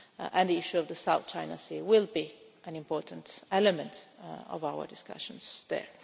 and the issue of the South China Sea will be an important element of our discussions there.